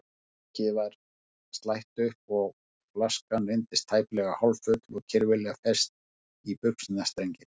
Líkið var slætt upp og flaskan reyndist tæplega hálffull og kirfilega fest í buxnastrenginn.